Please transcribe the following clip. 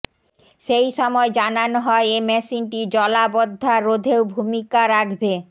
সেই সময় জানানো হয় এ মেশিনটি জলাবদ্ধা রোধেও ভূমিকা রাখবে